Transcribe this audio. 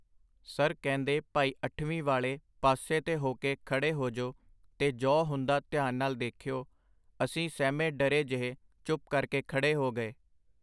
Sir ਕਹਿੰਦੇ ਭਾਈ ਅੱਠਵੀਂ ਵਾਲੇ ਪਾਸੇ ਤੇ ਹੋਕੇ ਖੜ੍ਹੇ ਹੋਜੋ ਤੇ ਜੌ ਹੁੰਦਾ ਧਿਆਨ ਨਾਲ ਦੇਖਿਓ ਅਸੀਂ ਸਹਿਮੇ ਡਰੇ ਜਿਹੇ ਚੁੱਪ ਕਰਕੇ ਖੜੇ ਹੋ ਗਏ.